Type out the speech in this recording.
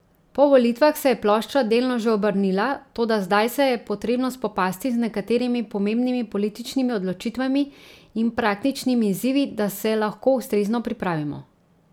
Po volitvah se je plošča delno že obrnila, toda zdaj se je potrebno spopasti z nekaterimi pomembnimi političnimi odločitvami in praktičnimi izzivi, da se lahko ustrezno pripravimo.